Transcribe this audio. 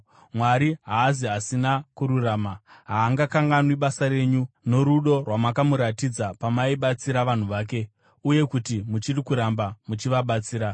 Mwari haazi asina kururama; haangakanganwi basa renyu norudo rwamakamuratidza pamaibatsira vanhu vake uye kuti muchiri kuramba muchivabatsira.